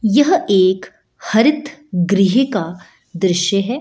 यह एक हरित गृह का दृश्य है ।